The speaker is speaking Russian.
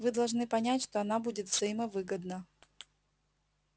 вы должны понять что она будет взаимовыгодна